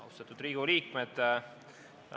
Austatud Riigikogu liikmed!